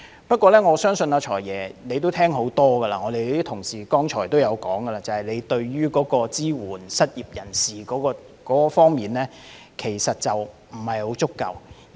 不過，我相信"財爺"聽了很多遍，而同事剛才也提到，就是預算案在支援失業人士方面仍有不足。